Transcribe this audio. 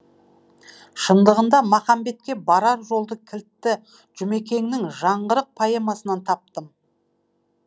шындығында махамбетке барар жолды кілтті жұмекеннің жаңғырық поэмасынан таптым